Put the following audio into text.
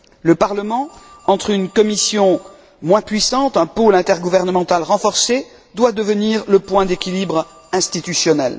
Le Parlement, entre une Commission moins puissante et un pôle intergouvernemental renforcé, doit devenir le point d'équilibre institutionnel.